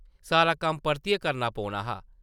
सारा कम्म परतियै करना पौना हा ।